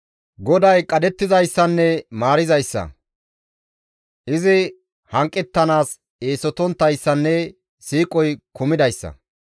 GODAY qadhettizayssanne maarizayssa; izi hanqettanaas eesotonttayssanne siiqoy kumidayssa.